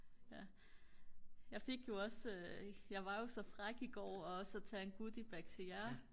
jeg fik jo også jeg var jo så fræk i går også at tage en goodie bag til jer